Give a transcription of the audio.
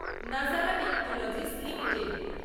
Nazara technologies limited